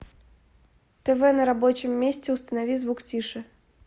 тв на рабочем месте установи звук тише